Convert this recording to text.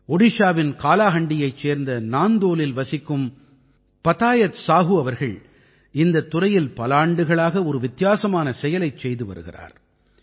ஒடிஷாவின் காலாஹண்டியைச் சேர்ந்த நாந்தோலில் வசிக்கும் பதாயத் சாஹூ அவர்கள் இந்தத் துறையில் பல ஆண்டுகளாக ஒரு வித்தியாசமான செயலைச் செய்து வருகிறார்